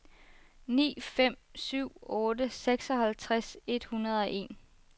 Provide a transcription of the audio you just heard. ni fem syv otte seksoghalvtreds et hundrede og en